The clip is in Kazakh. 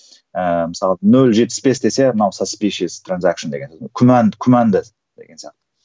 ііі мысалы нөл жетпіс бес десе күмән күмәнді деген сияқты